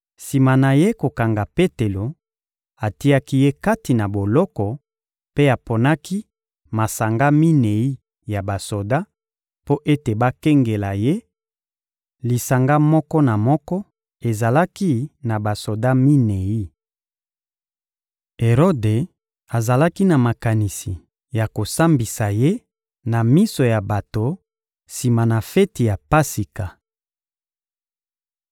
Sima na ye kokanga Petelo, atiaki ye kati na boloko mpe aponaki masanga minei ya basoda mpo ete bakengela ye; lisanga moko na moko ezalaki na basoda minei. Erode azalaki na makanisi ya kosambisa ye na miso ya bato sima na feti ya Pasika.